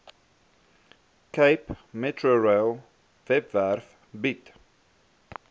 capemetrorail webwerf bied